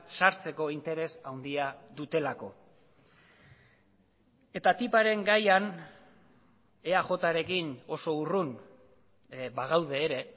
sartzeko interes handia dutelako eta tiparen gaian eajrekin oso urrun bagaude ere